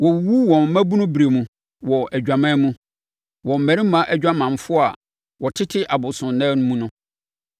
Wɔwuwu wɔn mmabunuberɛ mu wɔ adwaman mu, wɔ mmarima adwamanfoɔ a wɔtete abosonnan mu mu.